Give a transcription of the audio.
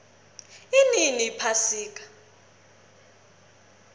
inini iphasika